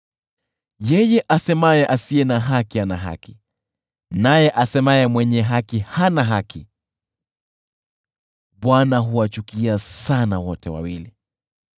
Yeye asemaye kuwa asiye na haki ana haki, naye asemaye kuwa mwenye haki hana haki: Bwana huwachukia sana wote wawili.